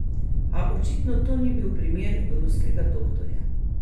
A očitno to ni bil primer ruskega doktorja.